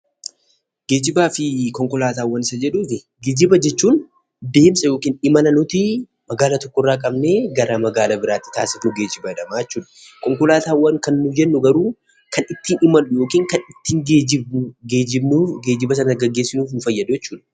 Geejjiba fi konkolaataawwan isa jedhuufi, geejjiba jechuun deemsa yookiin imala nuti magaalaa tokkorraa qabnee gara magaalaa biraatti taasifnu geejjiba jedhama jechuudha. Konkolaataawwan kan nuyi jennu garuu kan ittiin imallu yookiin kan ittiin geejjibnu, geejjiba sana gaggeessuuf nu fayyada jechuudha.